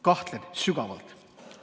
Kahtlen sügavalt.